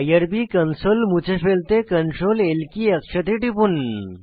IRB console মুছে ফেলতে Ctrl L key একসাথে টিপুন